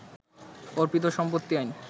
অর্পিত সম্পত্তি আইন